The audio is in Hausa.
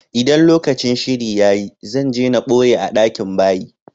ldan lokacin shiri ya yi, zan je n boye a dakin bayi.